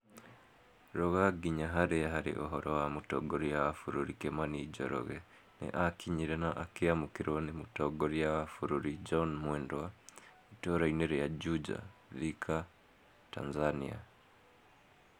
Ruga nginya harĩa harĩ ũhoro wa mũtongoria wa bũrũri kimani njoroge nĩ akinyire na akĩamũkĩrwo nĩ Mũtongoria wa bũrũri John Mwendwa itũũrainĩ rĩa Juja, Thika, Tanzania".